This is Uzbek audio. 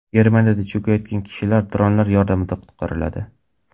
Germaniyada cho‘kayotgan kishilar dronlar yordamida qutqariladi.